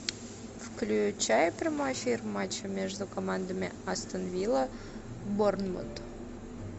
включай прямой эфир матча между командами астон вилла борнмут